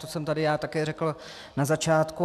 To jsem tady já také řekl na začátku.